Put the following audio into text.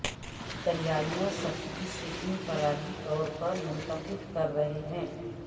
تیاریاں سختی سے انفرادی طور پر منتخب کر رہے ہیں